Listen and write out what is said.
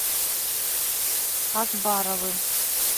акбаровым